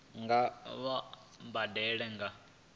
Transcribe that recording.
nga vha vho badela nga